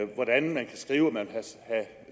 hvordan man kan skrive at man